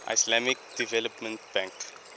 islamic development bank